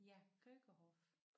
Ja Keukenhof